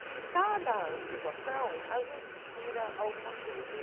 De cada situação, a gente tira alguma coisa.